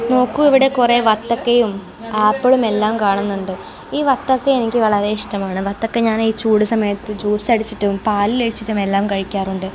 നോക്കൂ ഇവിടെ കുറെ വത്തക്കയും ആപ്പിളും എല്ലാം കാണുന്നുണ്ട് ഈ വത്തക്ക എനിക്ക് വളരെ ഇഷ്ടമാണ് വത്തക്ക ഞാൻ ഈ ചൂട് സമയത്ത് ജ്യൂസ് അടിച്ചിട്ടും പാലിൽ അടിച്ചിട്ടും എല്ലാം കഴിക്കാറുണ്ട്.